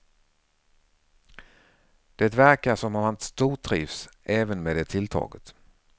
Det verkar som om han stortrivs även med det tilltaget.